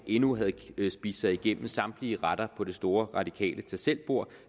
endnu ikke har spist sig igennem samtlige retter på det store radikale tag selv bord